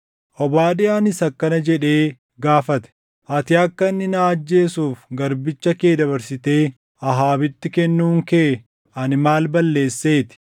Obaadiyaanis akkana jedhee gaafate; “Ati akka inni na ajjeesuuf garbicha kee dabarsitee Ahaabitti kennuun kee ani maal balleesseeti?